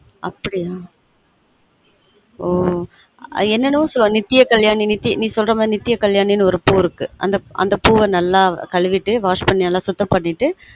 அப்டியா ம் ம் என்ன என்னவொ சொல்வாங்க நித்ய கல்யாணினு ஒரு பூ இருக்கு அந்த பூ வ நல்ல கலு விட்டு நல்லா wash பன்னி சுத்தம் பண்ணிட்டு